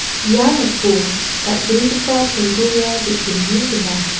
ia noko dal·begipa cholguga ge·gni gnang.